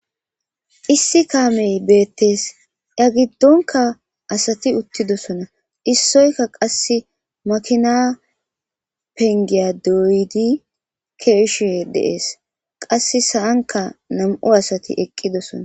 Issi kaamee beeththees; a giddonkka asathi uththidosona issoykka qassi mekiina penggiya dooyidi keyishee de7es; qassi sa7ankka nam7u asathi eqqidosona.